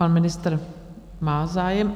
Pan ministr má zájem.